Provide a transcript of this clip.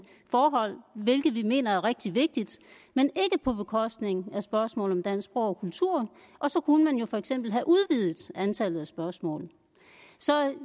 forhold hvilket vi mener er rigtig vigtigt men ikke på bekostning af spørgsmål om dansk sprog og kultur og så kunne man jo for eksempel have udvidet antallet af spørgsmål så